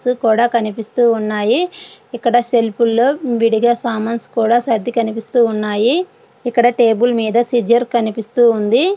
Books కనిపిస్తూ ఉన్నాయి. ఇక్కడ సెల్ఫ్ లోని విడిగా సామాన్లు సర్దు కనిపిస్తూ ఉన్నాయి. కదా టేబుల్ మీద సీజర్ కూడా కనిపిస్తూ ఉంది.